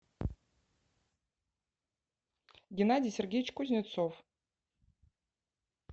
геннадий сергеевич кузнецов